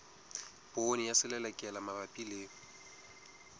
poone ya selelekela mabapi le